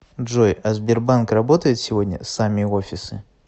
джой а сбербанк работает сегодня сами офисы